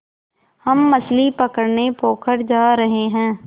हम मछली पकड़ने पोखर जा रहें हैं